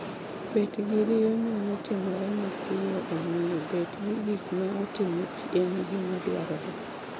Bet gi rinyo nyalo timore mapio omiyo bet gi gik ma otimo pi en gima dwarore